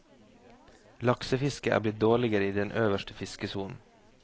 Laksefisket er blitt dårligere i den øverste fiskesonen.